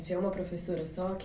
Tinha uma professora só que...